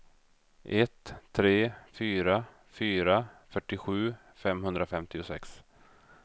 ett tre fyra fyra fyrtiosju femhundrafemtiosex